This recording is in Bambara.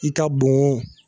I ka bon o